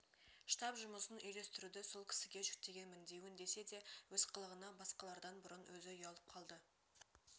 штаб жұмысын үйлестіруді сол кісіге жүктегенмін деуін десе де өз қылығына басқалардан бұрын өзі ұялып қалды